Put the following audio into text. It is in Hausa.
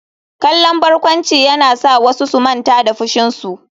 Kallon barkwanci yana sa wasu su manta da fushinsu.